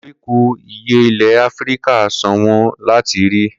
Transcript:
Koríko ìyẹ́ ilẹ̀ Áfíríkà ṣọ̀wọ́n láti rí.